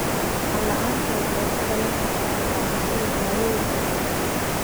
Maqal la'aanta waxay ka dhalan kartaa qaadashada daawooyinka qaarkood.